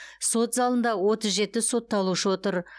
сот залында отыз жеті сотталушы отыр